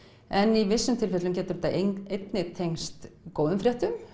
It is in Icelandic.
en í vissum tilfellum getur þetta einnig tengst góðum fréttum